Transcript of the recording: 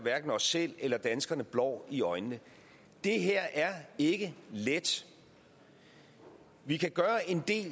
os selv eller danskerne blår i øjnene det her er ikke let vi kan gøre en del